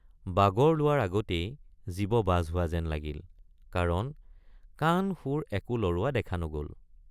বাগৰ লোৱাৰ আগতেই জীৱ বাজ হোৱা যেন লাগিল কাৰণ কাণশুৰ একো লৰোৱা দেখা নগল।